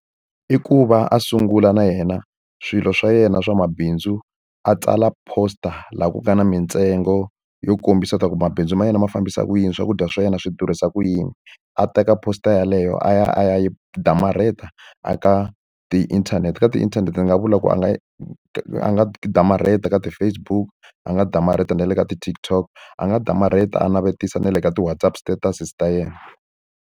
I ku va a sungula na yena swilo swa yena swa mabindzu a tsala poster laha ku nga na mintsengo yo kombisa leswaku mabindzu ma yena ma fambisa ku yini, swakudya swa yena swi durhisa ku yini. A teka poster yeleyo a ya a ya yi damarheta eka ti-internet. Ka ti-internet ni nga vula ku a nga a nga damarheti ka ti-Facebook, a nga damarheta na le ka ti-TikTok, a nga damarheta a navetisa na le ka ti-WhatsApp statuses ta yena.